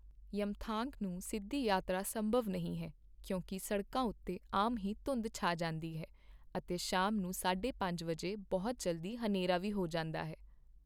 ਯਮਥਾਂਗ ਨੂੰ ਸਿੱਧੀ ਯਾਤਰਾ ਸੰਭਵ ਨਹੀਂ ਹੈ ਕਿਉਂਕਿ ਸੜਕਾਂ ਉੱਤੇ ਆਮ ਹੀ ਧੁੰਦ ਛਾਂ ਜਾਂਦੀ ਹੈ ਅਤੇ ਸ਼ਾਮ ਨੂੰ ਸਾਢੇ ਪੰਜ ਵਜੇ ਬਹੁਤ ਜਲਦੀ ਹਨੇਰਾ ਵੀ ਹੋ ਜਾਂਦਾ ਹੈ।